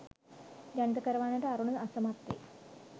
ජනිත කරවන්නට අරුණ අසමත් වේ